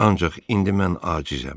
Ancaq indi mən acizəm.